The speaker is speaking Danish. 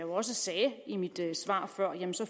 også sagde i mit svar før